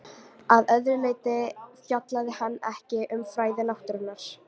Að öðru leyti fjallaði hann ekki um fræði náttúrunnar.